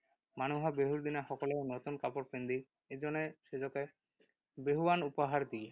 মানুহ বিহুৰ দিনা সকলোৱে নতুন কাপোৰ পিন্ধি ইজনে সিজকে বিহুৱান উপহাৰ দিয়ে।